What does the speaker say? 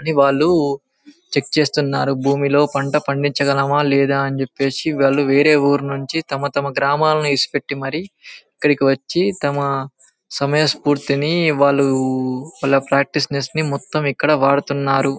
అని వాలు చెక్ చేస్తున్నారు భూమిలో పంట పండించ గలమా లేదా అని చెప్పేసి వాలు వేరే ఊరినుండి తమ తమ గ్రామాలని ఇసిపెట్టి మరి ఇక్కడ కి వచ్చి తమ సమయ స్పూర్తిని వాళ్ళు వాల ప్రాక్టీస్నెస్ ని మొతం ఇక్కడ వాడుతున్నారు.